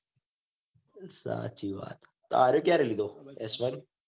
સાચી વાત તારે ક્યારે લીધો. એસ વેન